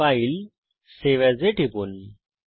ফাইলেগটগট save as টিপুন